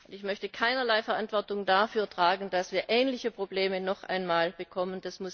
Ich möchte keinerlei Verantwortung dafür tragen, dass wir ähnliche Probleme noch einmal bekommen.